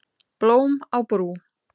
Blóm á brú